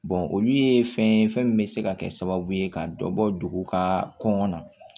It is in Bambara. olu ye fɛn ye fɛn min bɛ se ka kɛ sababu ye ka dɔ bɔ dugu ka kɔnɔnna